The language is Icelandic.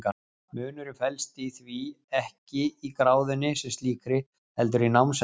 munurinn felst því ekki í gráðunni sem slíkri heldur í námsefninu